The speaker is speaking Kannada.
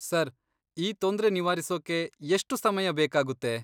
ಸರ್, ಈ ತೊಂದ್ರೆ ನಿವಾರಿಸೋಕೆ ಎಷ್ಟು ಸಮಯ ಬೇಕಾಗುತ್ತೆ?